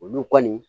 Olu kɔni